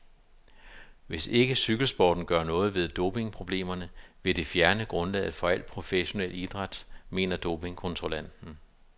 Hvis ikke cykelsporten gør noget ved dopingproblemerne, vil det fjerne grundlaget for al professionel idræt, mener dopingkontrollanten.